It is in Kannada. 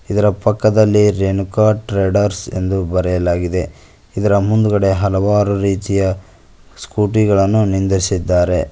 ಇದರ ಪಕ್ಕದಲ್ಲಿ ರೇಣುಕಾ ಟ್ರೇಡರ್ಸ್ ಎಂದು ಬರೆಯಲಾಗಿದೆ ಇದರ ಮುಂದುಗಡೆ ಹಲವಾರು ರೀತಿಯ ಸ್ಕೂಟಿ ಗಳನ್ನು ನಿಂದಿರಿಸಿದ್ದಾರೆ.